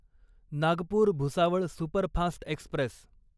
Nagpur Bhusawal superfast Express